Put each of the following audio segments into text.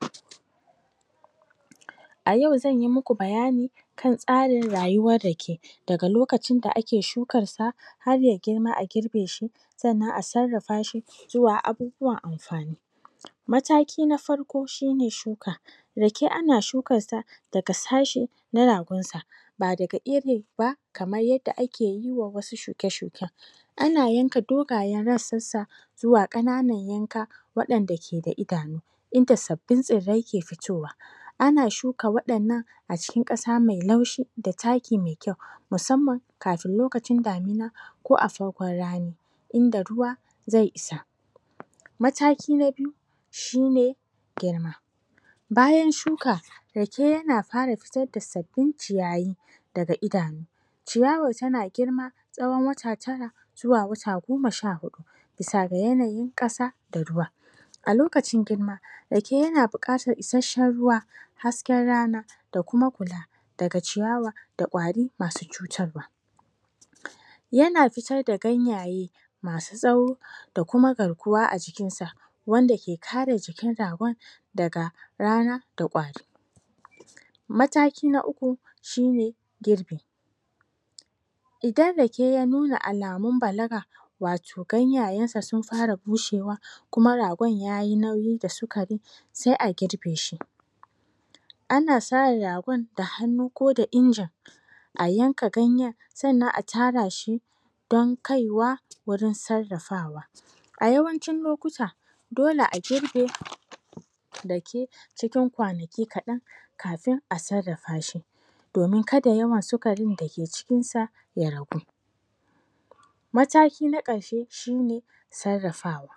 pause A yau zanyi muku bayani kan tsarin rayuwar rake, daga lokacin da ake shukansa har ya girma a girbeshi sannan a sarrafa shi zuwa abubuwan amfani mataki na farko shine shuka rake ana shukar sa daga sashe na yarinsa ba daga iri ba kamar yanda akeyi wa wasu shuke-shuken ana yanka dogayen rassansa zuwa ƙana nan yanka waɗanda ke da idanu inda sabbin tsirrai ke fitowa ana shuka waɗannan a cikin ƙasa mai laushi da taki mai kyau musamman kafin lokacin damina ko aa cikin rani inda ruwa zai isa mataki na biyu shine girma bayan shuka rake yana fara fitar da sabbin ciyayi daga idanu ciyawar tana girma tsawon wata tara zuwa wata goma sha huɗu bisa ga yanayin ƙasa da ruwa a lokacin girma rake yana bukatar isashshen ruwa hasken rana da kuma kula daga ciyawa da kwari masu cutarwa yana fitar da ganyaye masu tsawo da kuma garkuwa a jikinsa wanda ke kare jikin ragon daga rana da kwari mataki na uku shine girbi idan rake ya nuna alamun balaga wato ganyayensa sun fara bushewa kuma ragon yayi nauyi wa sukarin se a girbe shi ana sa yabon da hannu ko da injin a yanka ganyen sannan a tara shi don kaiwa wurin sarrafawa a yawancin lokuta dole a girbe rake cikin kwanaki kaɗan kafin a sarrafashi domin kada yawan sukarin da ke cikinsa ya ragu mataki na ƙarshe shine sarrafawa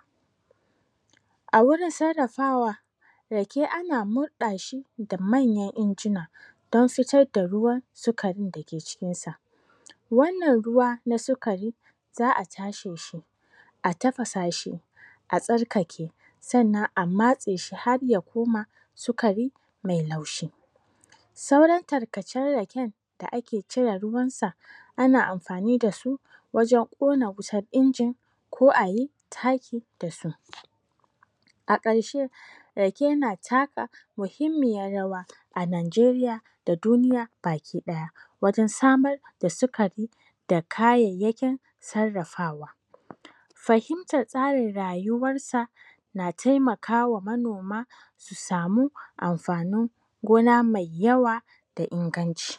a wurin sarrafawa rake ana murɗa shi da manyan injina don fitar da ruwan sukarin da ke cikin sa wannan ruwa na sukari za'a tasheshi a tafasa shi a tsarkake sannan a matse shi har ya koma sukari mai laushi sauran tarkacen raken da ake cire ruwansa ana amfani dasu wajen ƙona wutan injin ko ayi taki da su a ƙarshe rake na taka muhimmiyar rawa a najeriya da duniya baki ɗaya wajen samar da sukari da kayayyakin sarrafawa fahimtar tsarin rayuwar sa na taimakawa manoma su samu amfanin gona mai yawa da inganci